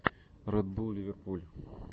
ред булл ливерпуль